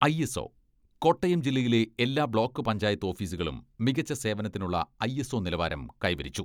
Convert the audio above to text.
ISO, Kottayam ജില്ലയിലെ എല്ലാ block panchayat ഓഫീസുകളും, മികച്ച സേവനത്തിനുള്ള ഐ എസ് ഒ നിലവാരം കൈവരിച്ചു.